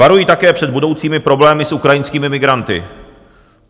Varuji také před budoucími problémy s ukrajinskými migranty.